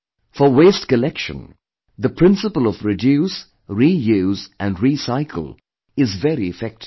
For waste collection the principle of reduce, reuse and recycle is very effective